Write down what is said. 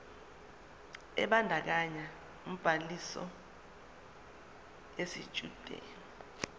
ebandakanya ubhaliso yesitshudeni